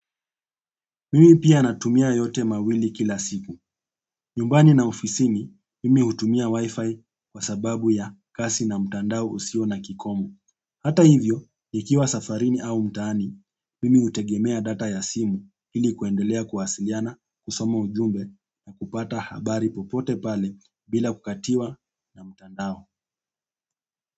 Mimi pia natumia yote mawili kila siku. Nyumbani na ofisini, mimi hutumia wifi kwa sababu ya kazi na mtandao usio na kikomo. Hata hivyo, nikiwa safarini au mtaani, mimi hutegemea data ya simu ili kuendelea kuwasiliana, kusoma ujumbe na kupata habari popote pale bila kukatiwa na mtandao.